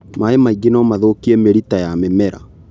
Maĩ maingĩ nomathũkie mĩrita ya mĩmera.